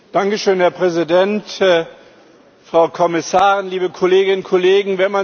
Dankeschön, Herr Präsident, Frau Kommissarin, liebe Kolleginnen und Kollegen!